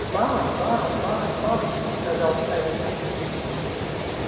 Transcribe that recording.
ба ба ба ба сказал старик